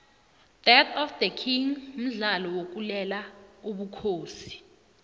death of the king mdlalo wokulela ubukhosi